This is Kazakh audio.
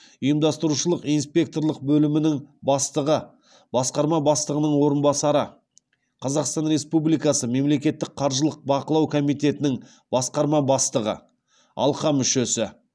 ұйымдастырушылық инспекторлық бөлімінің бастығы басқарма бастығының орынбасары қазақстан республикасы мемлекеттік қаржылық бақылау комитетінің басқарма бастығы алқа мүшесі